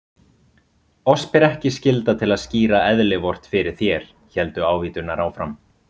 Oss ber ekki skylda til að skýra eðli Vort fyrir þér, héldu ávíturnar áfram.